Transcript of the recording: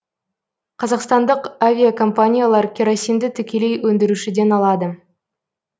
қазақстандық авиакомпаниялар керосинді тікелей өндірушіден алады